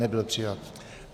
Nebyl přijat.